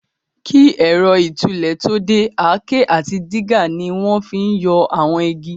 Kí ẹ̀rọ ìtúlẹ̀ tó dé, àáké àti dígà ni wọ́n fi n yọ àwọn igi